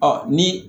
Ɔ ni